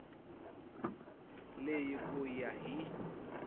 leyi hi ku ya hi